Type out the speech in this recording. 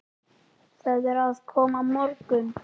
Það er að koma morgunn